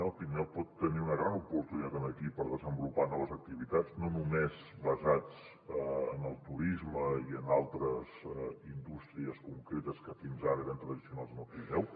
el pirineu pot tenir una gran oportunitat aquí per desenvolupar noves activitats no només basades en el turisme i en altres indústries concretes que fins ara eren tradicionals en el pirineu